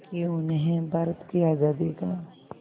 कि उन्हें भारत की आज़ादी का